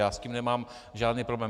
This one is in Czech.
Já s tím nemám žádný problém.